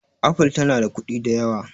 apple tana da kuɗi da yawa